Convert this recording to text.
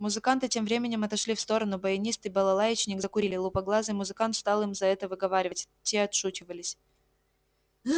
музыканты тем временем отошли в сторону баянист и балалаечник закурили лупоглазый музыкант стал им за это выговаривать те отшучивались